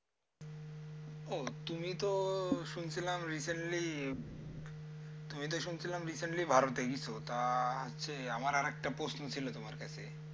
ও তুমি তো শুনছিলাম recently তুমি তো শুনছিলাম recently ভারতে গেছো। তা হচ্ছে আমার আর একটা প্রশ্ন ছিল তোমার কাছে।